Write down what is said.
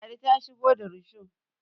ladi ta shigo rusho